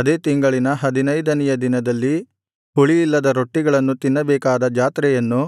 ಅದೇ ತಿಂಗಳಿನ ಹದಿನೈದನೆಯ ದಿನದಲ್ಲಿ ಹುಳಿಯಿಲ್ಲದ ರೊಟ್ಟಿಗಳನ್ನು ತಿನ್ನಬೇಕಾದ ಜಾತ್ರೆಯನ್ನು